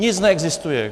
Nic neexistuje!